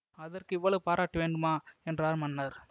அதற்கு இவ்வளவு பாராட்டு வேண்டுமா என்றார் மன்னர்